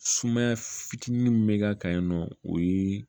Sumaya fitinin min bɛ k'a kan yen nɔ o ye